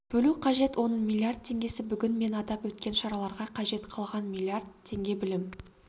бөлу қажет оның миллиард теңгесі бүгін мен атап өткен шараларға қажет қалған миллиард теңге білім